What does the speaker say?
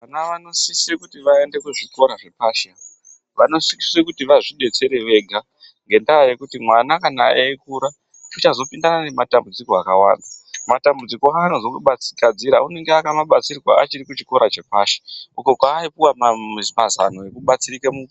Vana vanosise kuti vaende kuzvikora zvepashi. Vanosise kuti vazvidetsere vega ngendaa yekuti mwana kana eikura uchazopindana nematambudziko akawanda, matambudziko anaozogadzira unenge akamabatsirwa achiri kuchikora chepashi uko kwaaiouwa mazano ekubatsirika mu.